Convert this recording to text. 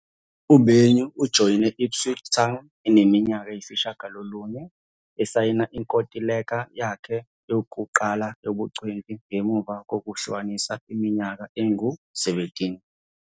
UBenyu ujoyine i-Ipswich Town eneminyaka eyisishiyagalolunye esayina inkontileka yakhe yokuqala yobungcweti ngemuva kokuhlanganisa iminyaka engu-17.